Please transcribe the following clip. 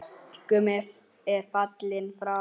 Gummi er fallinn frá.